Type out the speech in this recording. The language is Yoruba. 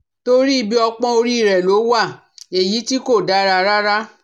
Torí ibi ọpọ́ orí rẹ̀ ló wà èyí tih kò dára rárá